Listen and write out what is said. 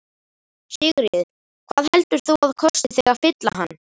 Sigríður: Hvað heldur þú að kosti þig að fylla hann?